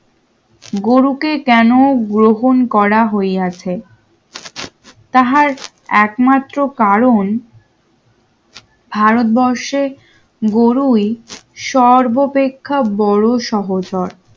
গুরু কে কেন গ্রহণ করা হইয়াছে তাহার একমাত্র কারণ ভারতবর্ষের গরুই সর্বাপেক্ষা বড় সহচর